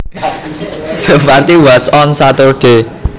The party was on Saturday